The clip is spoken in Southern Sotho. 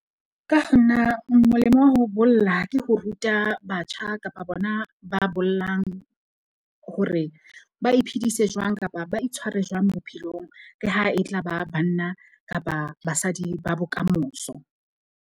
Ka ho nna, molemo wa ho bolla ke ho ruta batjha kapa bona ba bollang, hore ba iphedise jwang kapa ba itshware jwang bophelong le ha e tla ba banna kapa basadi ba bokamoso.